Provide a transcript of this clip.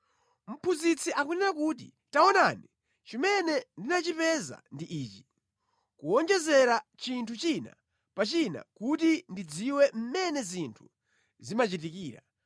Mlaliki akunena kuti, “Taonani, chimene ndinachipeza ndi ichi: “Kuwonjezera chinthu china pa china kuti ndidziwe mmene zinthu zimachitikira,